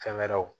Fɛn wɛrɛw